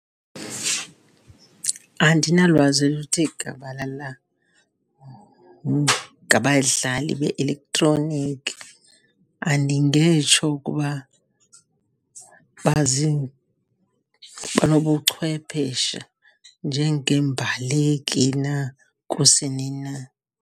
Andinalwazi oluthe gabalala ngabadlali be-eletroniki. Andingetsho ukuba banobuchwepheshe njengeembaleki na, kusini na.